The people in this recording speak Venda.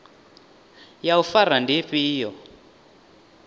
ya u fara ndi ifhio